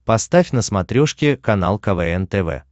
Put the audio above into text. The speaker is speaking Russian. поставь на смотрешке канал квн тв